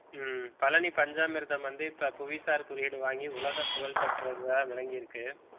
ஹம் பழனி பஞ்சாமிர்தம் வந்து இப்ப புவிசார் குறியீடு வாங்கி உலக புகழ் பெற்றதா விளங்கிருக்கு